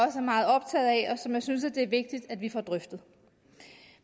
som jeg synes det er vigtigt at vi får drøftet